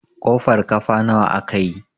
kofar kafa nawa aka yi?